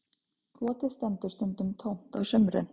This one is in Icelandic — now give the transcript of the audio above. Kotið stendur stundum tómt á sumrin